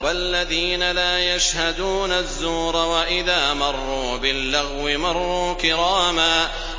وَالَّذِينَ لَا يَشْهَدُونَ الزُّورَ وَإِذَا مَرُّوا بِاللَّغْوِ مَرُّوا كِرَامًا